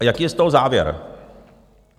A jaký je z toho závěr?